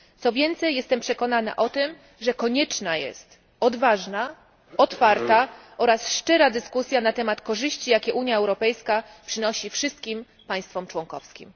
Co więcej jestem przekonana o tym, że konieczna jest odważna, otwarta oraz szczera dyskusja na temat korzyści jakie Unia Europejska przynosi wszystkim państwom członkowskim.